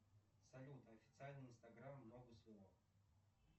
салют официальный инстаграм ногу свело